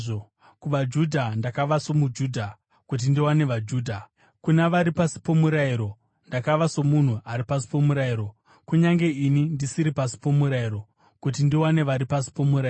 KuvaJudha ndakava somuJudha, kuti ndiwane vaJudha. Kuna vari pasi pomurayiro ndakava somunhu ari pasi pomurayiro (kunyange ini ndisiri pasi pomurayiro), kuti ndiwane vari pasi pomurayiro.